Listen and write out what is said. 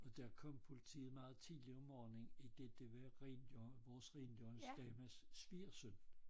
Og der kom politiet meget tidligt om morgenen idet det var vores rengøringsdames svigersøn